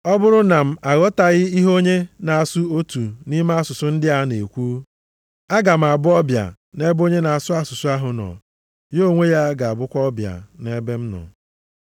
Ọ bụrụ na m aghọtaghị ihe onye na-asụ otu nʼime asụsụ ndị a na-ekwu, aga m abụ ọbịa nʼebe onye na-asụ asụsụ ahụ nọ, ya onwe ya ga-abụkwa ọbịa nʼebe m nọ.